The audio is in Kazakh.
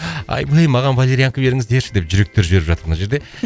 маған валерианка беріңіздерші деп жүректер жіберіп жатыр мына жерде